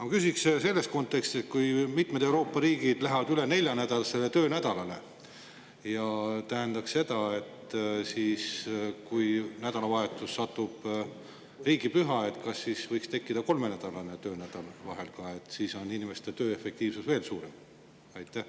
Ma küsiks selles kontekstis, et kui mitmed Euroopa riigid lähevad üle nelja töönädalale ja mõnele nädalavahetusele satub riigipüha, kas siis võiks vahel ka kolme töönädal olla, et inimeste tööefektiivsus oleks veel suurem?